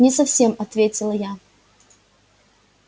не совсем ответила я